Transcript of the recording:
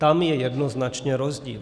Tam je jednoznačně rozdíl.